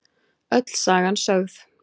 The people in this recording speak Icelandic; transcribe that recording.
Öll sagan sögð